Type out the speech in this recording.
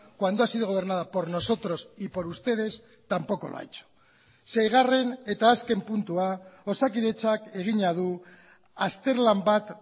cuando ha sido gobernada por nosotros y por ustedes tampoco lo ha hecho seigarren eta azken puntua osakidetzak egina du azterlan bat